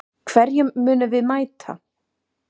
Hverjum munum við mæta??